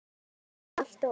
Og alltaf hógvær.